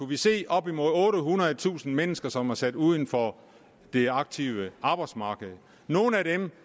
vi se op imod ottehundredetusind mennesker som er sat uden for det aktive arbejdsmarked nogle af dem